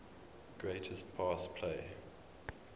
greatest pass play